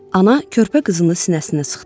Ana körpə qızını sinəsinə sıxdı.